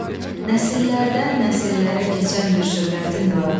Nəsillərdən nəsillərə keçən bir şöhrətin vardır.